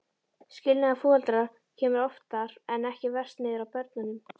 Skilnaður foreldra kemur oftar en ekki verst niður á börnunum.